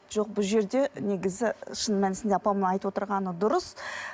жоқ бұл жерде негізі шын мәнісінде апамның айтып отырғаны дұрыс